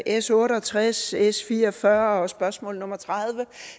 s otte og tres s fire og fyrre og spørgsmål nummer tredivete